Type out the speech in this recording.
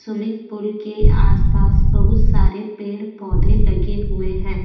Swimming pool के आसपास बहुत सारे पेड़-पौधे लगे हुए हैं।